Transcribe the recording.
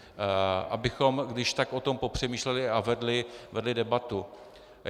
Abychom když tak o tom popřemýšleli a vedli debatu.